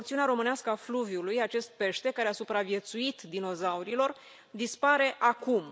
Pe porțiunea românească a fluviului, acest pește, care a supraviețuit dinozaurilor, dispare acum.